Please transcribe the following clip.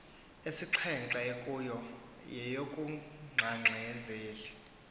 esixhenxe kuyo yeyokugxagxazeli